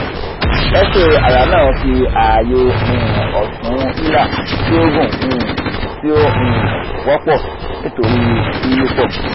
x-ray aya naa fi aaye um otun hilar ti o gun um ti o um wopo nitori yiyipo